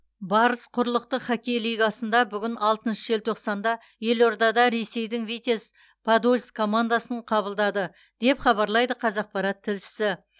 барыс құрлықтық хоккей лигасында бүгін алтыншы желтоқсанда елордада ресейдің витязь подольск командасын қабылдады деп хабарлайды қазақпарат тілшісі